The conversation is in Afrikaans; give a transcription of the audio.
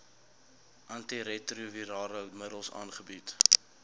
antiretrovirale middels aangebied